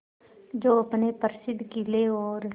जो अपने प्रसिद्ध किले और